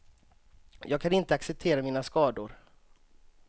Jag kan inte acceptera mina skador.